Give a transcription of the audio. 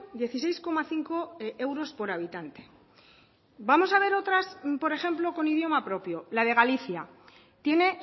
dieciséis coma cinco euros por habitante vamos a ver otras por ejemplo con idioma propio la de galicia tiene